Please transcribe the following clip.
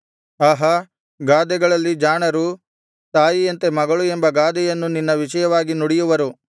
ಆಹಾ ಗಾದೆಗಳಲ್ಲಿ ಜಾಣರು ತಾಯಿಯಂತೆ ಮಗಳು ಎಂಬ ಗಾದೆಯನ್ನು ನಿನ್ನ ವಿಷಯವಾಗಿ ನುಡಿಯುವರು